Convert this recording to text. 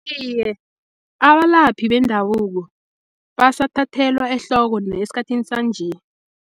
Iye, abalaphi bendabuko basathathelwa ehloko esikhathini sanje.